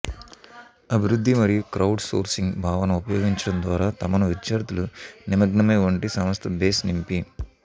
అభివృద్ధి మరియు crowdsourcing భావన ఉపయోగించడం ద్వారా తమను విద్యార్థులు నిమగ్నమై వంటి సంస్థ బేస్ నింపి